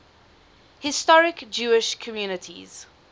historic jewish communities